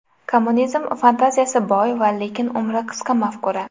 Kommunizm – fantaziyasi boy va lekin umri qisqa mafkura.